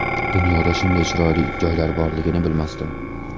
Dunyoda shunday chiroyli joylar borligini bilmasdim.